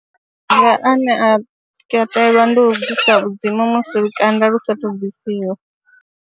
Maga ane a katelwa ndi u bvisa vhudzimu musi lukanda lu saathu bvisiwa.